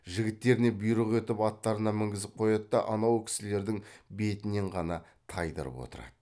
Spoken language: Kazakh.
жігіттеріне бұйрық етіп аттарына мінгізіп қояды да анау кісілердің бетінен ғана тайдырып отырады